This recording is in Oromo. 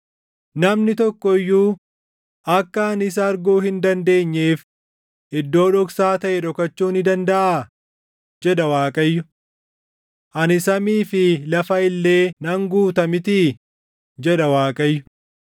“Namni tokko iyyuu akka ani isa arguu hin dandeenyeef iddoo dhoksaa taʼe dhokachuu ni dandaʼa?” jedha Waaqayyo. “Ani samii fi lafa illee nan guuta mitii?” jedha Waaqayyo.